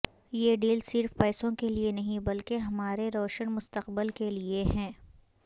یہ ڈیل صرف پیسوں کے لئیے نہیں بلکہ ہمارے روشن مستقبل کے لیئے ہے